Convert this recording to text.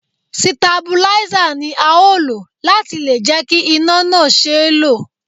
Sitabuláísà ni a ó lò láti lè jẹ́ kí iná náà ṣeé lò